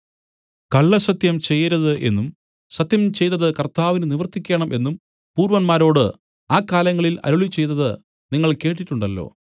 കള്ളസത്യം ചെയ്യരുത് എന്നും സത്യം ചെയ്തതു കർത്താവിന് നിവർത്തിക്കേണം എന്നും പൂർവ്വന്മാരോട് ആ കാലങ്ങളിൽ അരുളിച്ചെയ്തത് നിങ്ങൾ കേട്ടിട്ടുണ്ടല്ലോ